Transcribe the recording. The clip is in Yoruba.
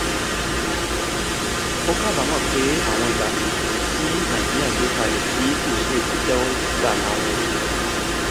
ó kábàámọ̀ pé àwọn ìlànà ìṣòwò tí nàìjíríà gbé kalẹ̀ tí kò ṣeé tẹ́wọ́ gbà láwọn